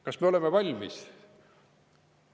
Kas me oleme valmis?